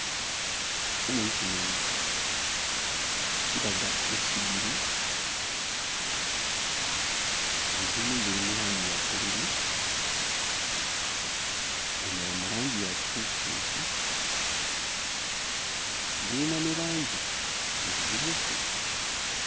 Ekifaananyi kino kiraga essigiri. Ezimu ziri mu langi ya bbululu, endala mu langi ya kikuusikuusi, zirina ne langi emmyufu.